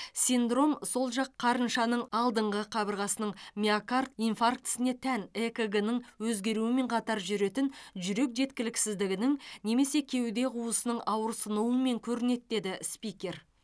синдром сол жақ қарыншаның алдыңғы қабырғасының миокард инфарктісіне тән экг ның өзгеруімен қатар жүретін жүрек жеткіліксіздігінің немесе кеуде қуысының ауырсынуымен көрінеді деді спикер